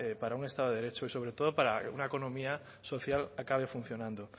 para un estado de derecho y sobre todo para que una economía social acabe funcionando